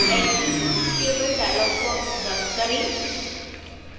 attribute table dialog box बंद करें